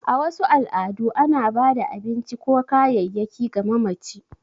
A wasu al’adu, ana ba da abinci ko kayayyaki ga mamaci.